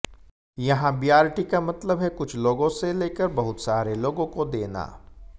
यहां बीआरटी का मतलब है कुछ लोगों से लेकर बहुत सारे लोगों को देना